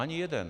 Ani jeden.